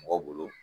Mɔgɔ bolo